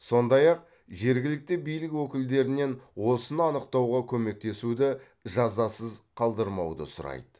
сондай ақ жергілікті билік өкілдерінен осыны анықтауға көмектесуді жазасыз қалдырмауды сұрайды